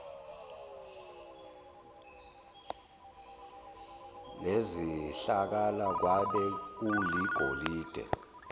nezihlakala kwabe kuligolide